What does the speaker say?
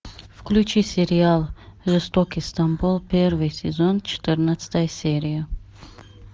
включи сериал жестокий стамбул первый сезон четырнадцатая серия